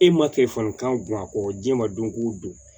E ma telefɔni kan bɔ a kɔ diɲɛ ma don ko don